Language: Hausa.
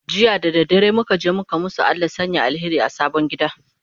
jiya da dare muka je muka masu Allah ya Sanya alheri a sabon gida